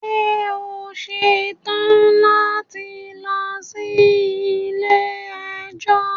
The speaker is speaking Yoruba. Ṣe o ṣetan lati lọ si ile-ẹjọ?